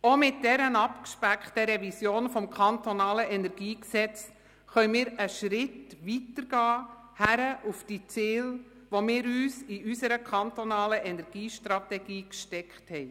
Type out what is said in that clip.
Auch mit dieser abgespeckten Revision des KEnG können wir einen Schritt weitergehen, hin zu den Zielen, die wir uns in unserer kantonalen Energiestrategie gesteckt haben.